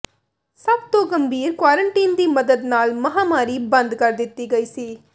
ਸਭ ਤੋਂ ਗੰਭੀਰ ਕੁਆਰੰਟੀਨ ਦੀ ਮਦਦ ਨਾਲ ਮਹਾਂਮਾਰੀ ਬੰਦ ਕਰ ਦਿੱਤੀ ਗਈ ਸੀ